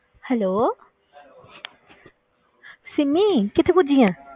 Hello Simi ਕਿੱਥੇ ਪੁੱਜੀ ਹੈ?